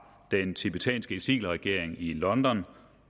den tibetanske eksilregering i london